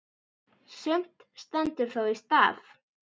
Sumt stendur þó í stað.